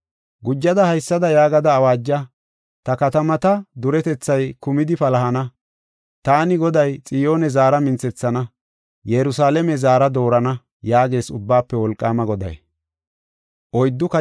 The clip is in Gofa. Gujada haysada yaagada awaaja: “Ta katamata duretethay kumidi palahana; taani Goday Xiyoone zaara minthethana; Yerusalaame zaara doorana” yaagees Ubbaafe Wolqaama Goday.